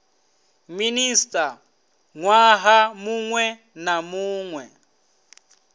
minista nwaha munwe na munwe